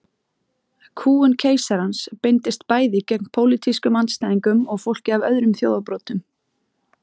Kúgun keisarans beindist bæði gegn pólitískum andstæðingum og fólki af öðrum þjóðarbrotum.